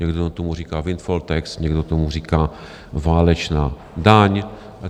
Někdo tomu říká windfall tax, někdo tomu říká válečná daň.